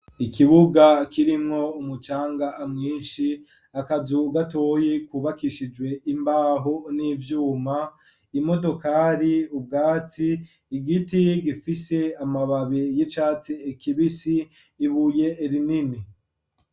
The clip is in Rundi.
Ikibuga kirimwo umucanga mwinshi akazu gatoyi kubakishijwe imbaho n'ivyuma imodokari ubwatsi ,igiti gifise amababi y'icatsi kibisi ibuye rinini.